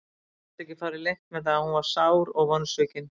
Gat ekki farið leynt með að hún var sár og vonsvikin.